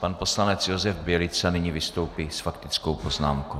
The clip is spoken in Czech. Pan poslanec Josef Bělica nyní vystoupí s faktickou poznámkou.